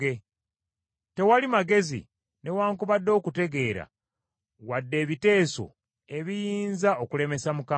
Tewali magezi, newaakubadde okutegeera, wadde ebiteeso ebiyinza okulemesa Mukama .